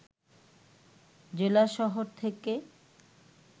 জেলা শহর থেকে